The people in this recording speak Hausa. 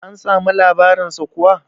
an samu labarinsa kuwa?